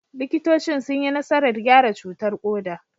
Likitocin sun yi nasarar gyara cutar koda.